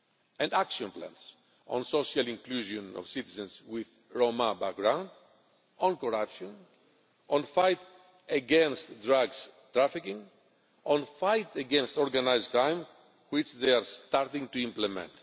and action plans on social inclusion of citizens with a Roma background, on corruption, in the fight against drugs trafficking, in the fight against organised crime which they are starting to implement.